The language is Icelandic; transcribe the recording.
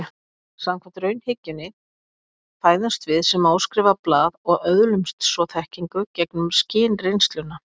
Samkvæmt raunhyggjunni fæðumst við sem óskrifað blað og öðlumst svo þekkingu gegnum skynreynsluna.